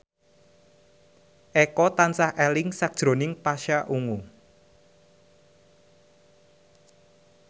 Eko tansah eling sakjroning Pasha Ungu